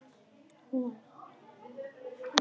Hún var lagleg.